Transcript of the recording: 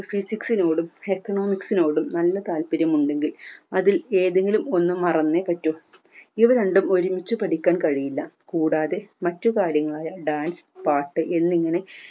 physics നോടും economics നോടും നല്ല താൽപര്യം ഉണ്ടെങ്കിൽ അതിൽ ഏതെങ്കിലും ഒന്ന് മറന്നേ പറ്റൂ ഇവ രണ്ടും ഒരുമിച്ച് പഠിക്കാൻ കഴിയില്ല കൂടാതെ മറ്റു കാര്യങ്ങളായ dance പാട്ട് എന്നിങ്ങനെ